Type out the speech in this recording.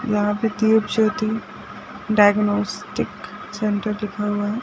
यहाँ पे Deepjyoti diagnostic centre लिखा हुआ है।